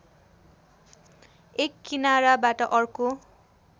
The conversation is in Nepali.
एक किनाराबाट अर्को